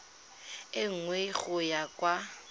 e nngwe go ya kwa